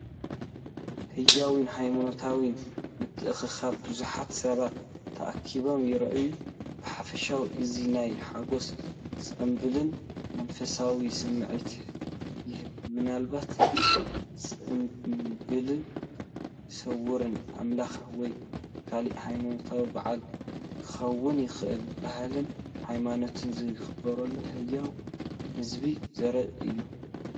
ህያውን ሃይማኖታውን ምትእኽኻብ ብዙሓት ሰባት ተኣኪቦም ይረኣዩ። ብሓፈሻ እዚ ናይ ሓጎስ፣ ጽምብልን መንፈሳውነትን ስምዒት ይህብ፤ ምናልባት ጽምብል ሰውራ ኣምላኽ ወይ ካልእ ሃይማኖታዊ በዓል ክኸውን ይኽእል። ባህልን ሃይማኖትን ዝኽበረሉ ህያው ህዝቢ ዘርኢ እዩ።